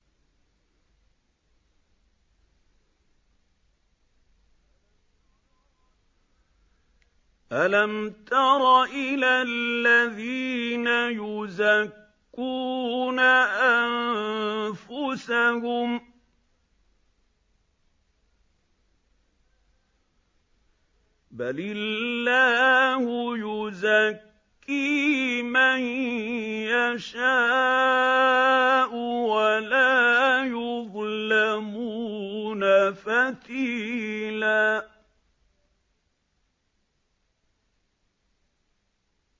أَلَمْ تَرَ إِلَى الَّذِينَ يُزَكُّونَ أَنفُسَهُم ۚ بَلِ اللَّهُ يُزَكِّي مَن يَشَاءُ وَلَا يُظْلَمُونَ فَتِيلًا